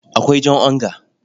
Akwai jan onga.